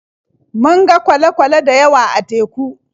Mun ga kwale-kwale da yawa a teku.